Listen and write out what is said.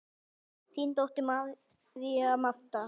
Þín dóttir, María Marta.